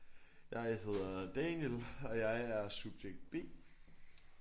Jeg hedder Daniel og jeg er subjekt B